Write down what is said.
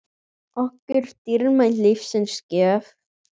okkur dýrmæt lífsins gjöf.